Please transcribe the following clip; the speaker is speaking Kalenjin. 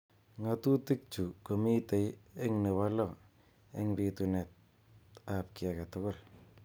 Ng'atutik chu komitei eng nebo lo eng bitunet ab ki age tugul.